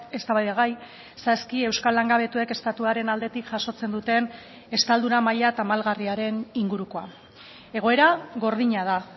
eztabaidagai saski euskal langabetuek estatuaren aldetik jasotzen duten estaldura maila tamalgarriaren ingurukoa egoera gordina da